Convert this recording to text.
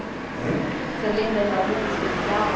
Hein O senhor lembra de algum em especial?